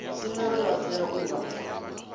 tshumelo vha tea u vha